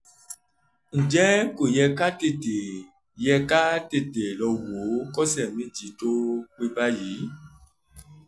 ǹjẹ́ ko ye ka tete ye ka tete lowo ko se meji to pe báyìí